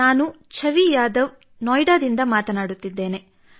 ನಾನು ಛವಿ ಯಾದವ್ ನೊಯಿಡಾದಿಂದ ಮಾತನಾಡುತ್ತಿದ್ದೇನೆ